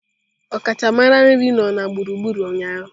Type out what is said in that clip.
Ọkachamara nri nọ na gburugburu ụnyaahụ.